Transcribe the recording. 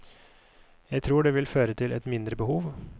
Jeg tror det vil føre til et mindre behov.